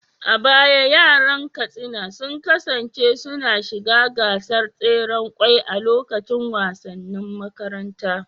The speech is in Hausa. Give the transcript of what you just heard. A baya yaran Katsina sun kasance suna shiga gasar tseren kwai a lokacin wasannin makaranta.